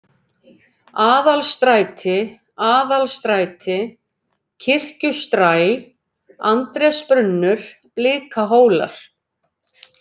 Aðalstræti, Aðalstræti Kirkjustræ, Andrésbrunnur, Blikahólar